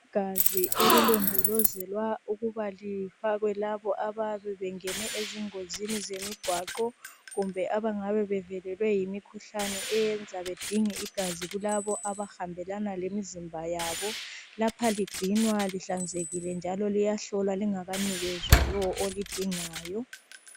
Igazi elilondolozelwa ukuba lifakwe labo abayabe bengene ezingozini zemigwaqo .Kumbe abangabe bevelelwe yimkhuhlane eyenza bedinge igazi kulabo abahambelana lemzimba yalo .Lapha ligcinwa lihlanzekile njalo liyahlolwa lingakanikezwa lowo olidingayo .